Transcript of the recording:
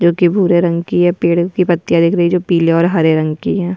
जो कि भूरे रंग की है पेड़ की पत्तियाँ दिख रही जो पीले और हरे रंग की हैं।